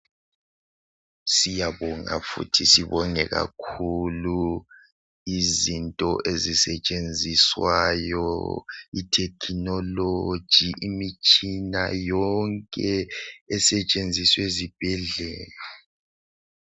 siyabonga futhi sibongekakhulu izinto ezisetshenziswayo ithekhinologi imitshina yonke esetshenziswa ezibhedlela